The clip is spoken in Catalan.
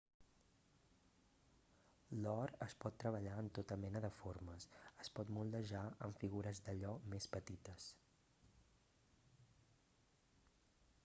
l'or es pot treballar en tota mena de formes es pot moldejar en figures d'allò més petites